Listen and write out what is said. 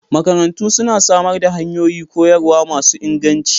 Makarantu suna samar da hanyoyi koyarwa masu inganci